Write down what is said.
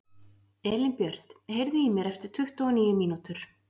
Elínbjört, heyrðu í mér eftir tuttugu og níu mínútur.